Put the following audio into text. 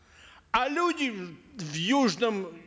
а люди в южном